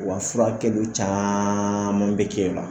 Wa furakɛliw caman bɛ kɛ ye nɔ.